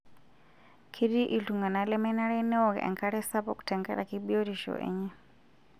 Ketii iltung'ana lemenare neok enkare sapuk tenkaraki biotisho enye.